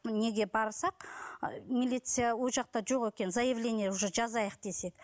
неге барсақ і милиция ол жақта жоқ екен заявление уже жазайық десек